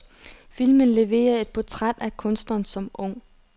Filmen leverer et portræt af kunstneren som ung.